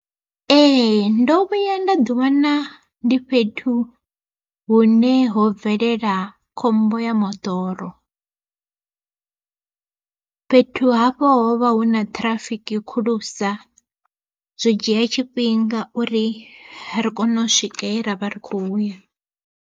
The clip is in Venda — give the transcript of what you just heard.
Ee ndo vhuya nda ḓi wana ndi fhethu hune ho bvelela khombo ya moḓoro, fhethu hafho hovha hu na ṱhirafiki khulusa zwo dzhia tshifhinga uri ri kone u swika he ravha ri khou ya.